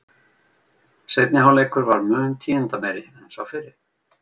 Seinni hálfleikur var mun tíðindameiri en sá fyrri.